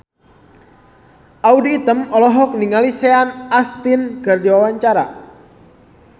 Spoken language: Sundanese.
Audy Item olohok ningali Sean Astin keur diwawancara